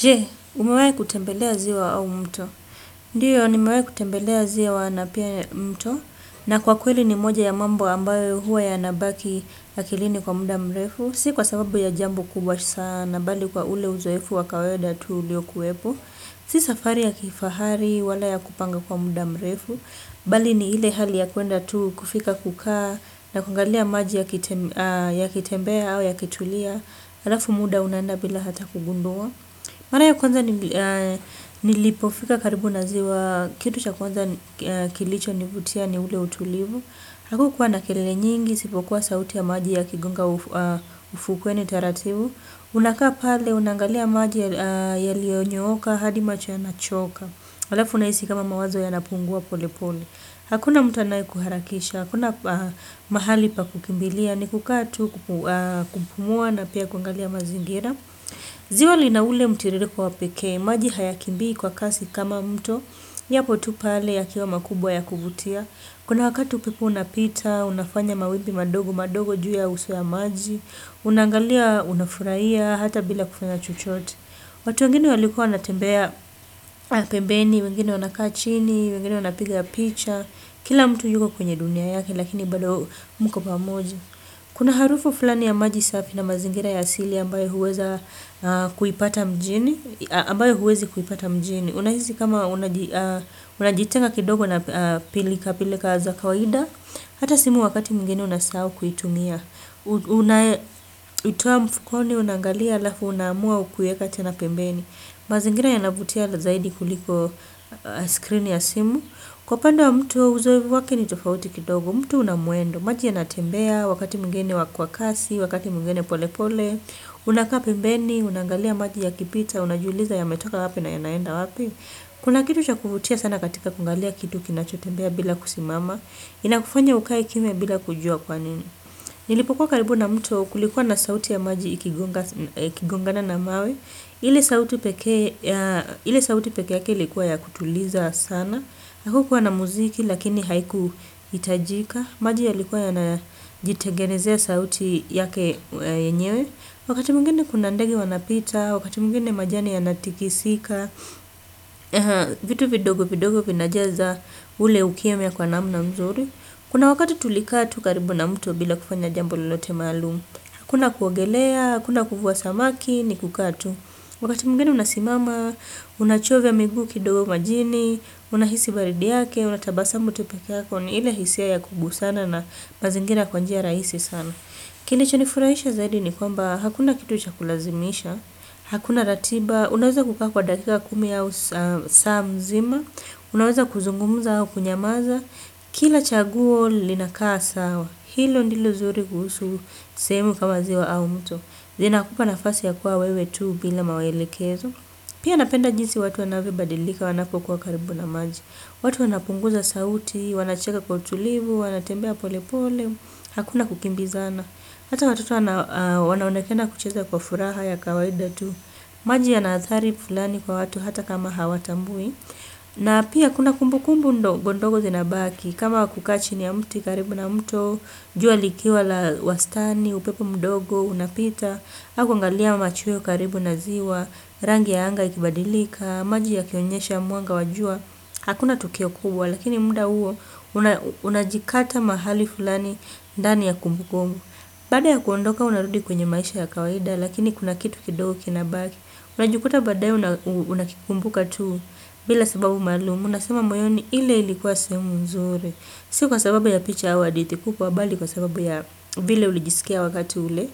Je, umewahi kutembelea ziwa au mto? Ndio, nimewahi kutembelea ziwa na pia mto. Na kwa kweli ni moja ya mambo ambayo huwa yanabaki akilini kwa muda mrefu. Si kwa sababu ya jambo kubwa sana, bali kwa ule uzoefu wa kawaida tu uliokuwepo. Si safari ya kifahari, wala ya kupanga kwa muda mrefu. Bali ni ile hali ya kwenda tu kufika kukaa, na kuangalia maji yakitembea au yakitulia. Alafu muda unaenda bila hata kugundua. Mara ya kwanza nilipofika karibu na ziwa, kitu cha kwanza kilichonivutia ni ule utulivu. Hakukuwa na kelele nyingi, isipokuwa sauti ya maji yakigonga ufukweni taratibu. Unakaa pale, unaangalia maji yaliyonyooka, hadi macho ya nachoka. Alafu unahisi kama mawazo ya napungua pole pole. Hakuna mtu anayekuharakisha, hakuna mahali pa kukimbilia ni kukaa tu, kupumua na pia kuangalia mazingira. Ziwa lina ule mtiririko wa pekee maji hayakimbii kwa kasi kama mto, yapo tu pale yakiwa makubwa ya kuvutia. Kuna wakati upepo unapita, unafanya mawimbi madogo madogo juu ya uso ya maji, unaangalia unafuraia hata bila kufanya chochote. Watu wengine walikuwa wanatembea pembeni, wengine wanakaa chini, wengine wanapiga picha, kila mtu yuko kwenye dunia yake lakini bado mko pamoja. Kuna harufu fulani ya maji safi na mazingira ya asili ambayo huweza ambayo huwezi kuipata mjini. Unahisi kama unajitenga kidogo na pilila pilika za kawaida. Hata simu wakati mwingine unasahau kuitumia. Unaitoa mfukoni, unangalia alafu, unaamua kuiweka tena pembeni. Mazingira yanavutia zaidi kuliko screen ya simu. Kwa upande wa mtu uzoefu wake ni tofauti kidogo. Mto una mwendo, maji yanatembea, wakati mwingine kwa kasi, wakati mwingine pole pole. Unakaa pembeni, unangalia maji yakipita, unajiuliza yametoka wapi na yanaenda wapi. Kuna kitu cha kuvutia sana katika kungalia kitu kinachotembea bila kusimama. Inakufanya ukae kimya bila kujua kwanini. Nilipokuwa karibu na mto kulikuwa na sauti ya maji ikigongana na mawe ile sauti pekee ile sauti pekee yake ilikuwa ya kutuliza sana hakukuwa na muziki lakini haikuhitajika. Maji yalikuwa yanajitengenezea sauti yake yenyewe. Wakati mwingine kuna ndege wanapita, wakati mwingine majani yanatikisika, vitu vidogo vidogo vinajaza ule ukimya kwa namna mzuri. Kuna wakati tulikaa tu karibu na mto bila kufanya jambo lalote maalumu hakuna kuogelea, hakuna kuvua samaki ni kukaa tu. Wakati mwingine unasimama, unachovya miguu kidogo majini, unahisi baridi yake, unatabasamu tu pekee yako ni ile hisia ya kubusana na mazingira kwa njia rahisi sana. Kilichonifurahisha zaidi ni kwamba hakuna kitu cha kulazimisha hakuna ratiba, unaweza kukaa kwa dakika kumi au saa mzima. Unaweza kuzungumza au kunyamaza. Kila chaguo linakaa sawa. Hilo ndilo zuri kuhusu sehemu kama ziwa au mto zinakupa nafasi ya kuwa wewe tu bila maelekezo. Pia napenda jinsi watu wanavyobadilika wanapokuwa karibu na maji. Watu wanapunguza sauti, wanacheka kwa utulivu, wanatembea pole pole, hakuna kukimbizana. Hata watoto wanaokena kucheza kwa furaha ya kawaida tu. Maji yana adhari fulani kwa watu hata kama hawatambui. Na pia kuna kumbukumbu ndogo ndogo zinabaki kama kukaa chini ya mti karibu na mto. Jua likiwa la wastani, upepo mdogo, unapita. Halafu kuangalia machweo karibu na ziwa, rangi ya anga ikibadilika, maji yakionyesha mwanga wa jua, hakuna tukio kubwa, lakini muda huo, unajikata mahali fulani ndani ya kumbukumbu. Baada ya kuondoka, unarudi kwenye maisha ya kawaida, lakini kuna kitu kido kina baki. Unajikuta baadaye unakikumbuka tu, bila sababu maalumu, unasema moyoni ile ilikuwa sehemu nzuri. Si kwa sababu ya picha au hadithi kubwa, bali kwa sababu ya vile ulijisikia wakati ule.